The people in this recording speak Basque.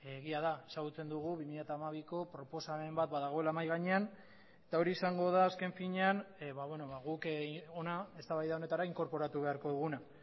egia da ezagutzen dugu bi mila hamabiko proposamen bat badagoela mahai gainean eta hori izango da azken finean guk hona eztabaida honetara inkorporatu beharko duguna